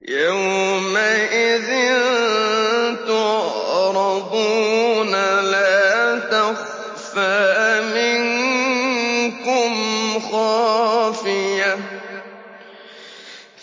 يَوْمَئِذٍ تُعْرَضُونَ لَا تَخْفَىٰ مِنكُمْ خَافِيَةٌ